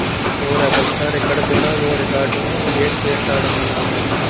so rebel star ఇక్కడ కూడా ఓ రికార్డును క్రియేట్ చేశాడన్నమాట